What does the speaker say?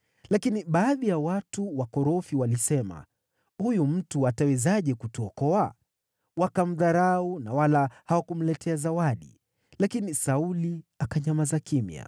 Lakini baadhi ya watu wakorofi walisema, “Huyu mtu atawezaje kutuokoa?” Wakamdharau na wala hawakumletea zawadi. Lakini Sauli akanyamaza kimya.